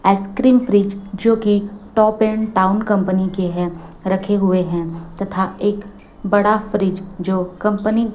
ice cream fridge जो कि top and town company के हैं रखे हुए हैं तथा एक बड़ा फ्रिज जो कंपनी --